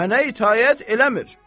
Mənə itaət eləmir.